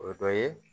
O dɔ ye